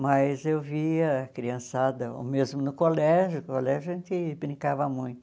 Mas eu via a criançada, ou mesmo no colégio, no colégio a gente brincava muito.